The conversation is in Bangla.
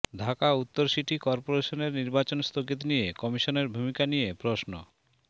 ঢাকা উত্তর সিটি করপোরেশনের নির্বাচন স্থগিত নিয়ে কমিশনের ভূমিকা নিয়ে প্রশ্ন